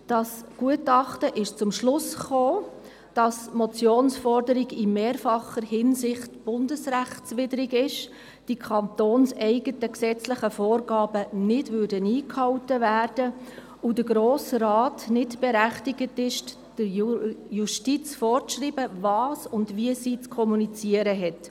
Das Gutachten kommt zum Schluss, dass die Motionsforderung in mehrfacher Hinsicht bundesrechtswidrig ist, die kantonseigenen gesetzlichen Vorgaben nicht eingehalten würden und der Grosse Rat nicht berechtigt ist, der Justiz vorzuschreiben, was und wie diese zu kommunizieren hat.